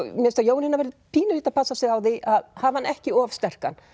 mér finnst að Jónína verði pínulítið að passa sig á því að hafa hann ekki of sterkan